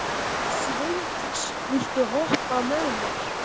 Sveindís, viltu hoppa með mér?